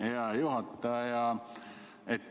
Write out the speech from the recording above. Hea juhataja!